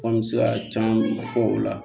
An bɛ se ka caman fɔ o la